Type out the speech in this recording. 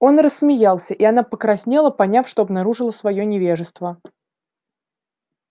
он рассмеялся и она покраснела поняв что обнаружила своё невежество